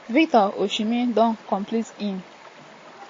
victor osimhen don complete im sensational transfer to turkish giants galatasaray.